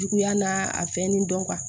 Juguya n'a a fɛnnen dɔn